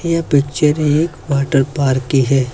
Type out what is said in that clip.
यह पिक्चर एक वॉटरपार्क की है।